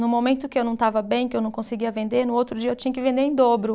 No momento que eu não estava bem, que eu não conseguia vender, no outro dia eu tinha que vender em dobro.